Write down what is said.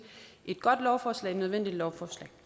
et godt lovforslag et nødvendigt lovforslag